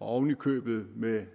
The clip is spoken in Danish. og oven i købet med